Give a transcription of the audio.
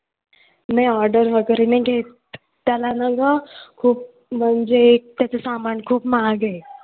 नाही order वगैरे नाही घेत. त्याला ना गं खूप म्हणजे त्याचं सामान खूप महाग आहे.